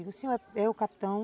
Eu digo, o senhor é o capitão?